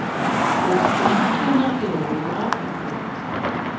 Flest ríkjanna eru í Afríku.